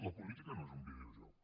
la política no és un videojoc